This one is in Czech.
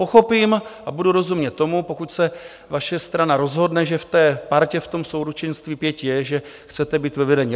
Pochopím a budu rozumět tomu, pokud se vaše strana rozhodne, že v té partě, v tom souručenství pěti je, že chcete být ve vedení.